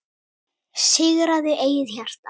Sigraðu eigið hjarta